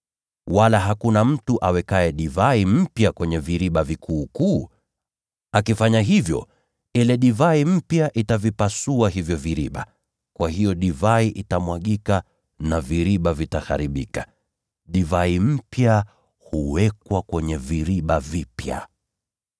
Wala hakuna mtu awekaye divai mpya kwenye viriba vikuukuu. Akifanya hivyo, ile divai mpya itavipasua hivyo viriba, nayo hiyo divai itamwagika na viriba vitaharibika. Lakini divai mpya huwekwa kwenye viriba vipya.”